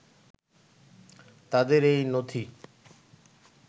তাদের এই নথি